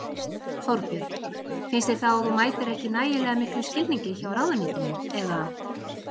Þorbjörn: Finnst þér þá að þú mætir ekki nægilega miklum skilningi hjá ráðuneytinu eða?